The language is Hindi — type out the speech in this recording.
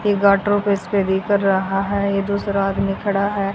ये गाटरों पे स्प्रे भी कर रहा है ये दूसरा आदमी खड़ा है।